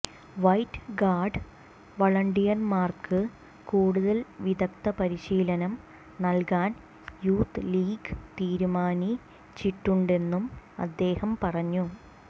white Guard വളണ്ടിയർമ്മാർക്ക് കൂടുതൽ വിദഗ്ദ പരിശീലനം നൽകാൻ യൂത്ത് ലീഗ് തിരുമാനി ചിട്ടുന്ടെന്നും അദ്ദേഹം പറഞ്ഞു